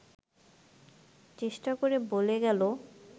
চেষ্টা করে বলে গেল